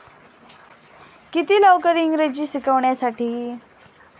किती लवकर इंग्रजी शिकण्यासाठी?